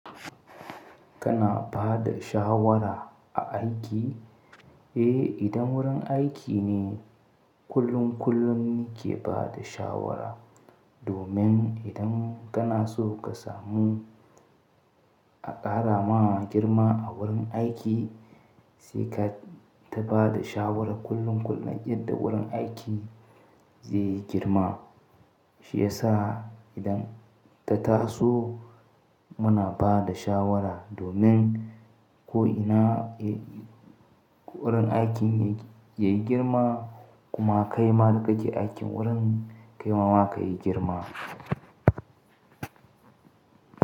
Kana ba da shawara a aiki? Eh, idan wurin aiki ne kullum kullum nike ba da shawara, domin idan kana so ka samu a ƙara ma girma a wurin aiki, sai ka ta ba da shawara kullum kullum yadda wurin aiki zai yi girma. Shi ya sa idan ta taso muna ba da shawara domin ko ina wurin aikin yayi girma kuma kai ma da kake aikin wurin kai ma wa ka yi girma.